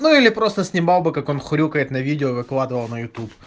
или просто снимал бы как он хрюкает на видео выкладывал на ютуб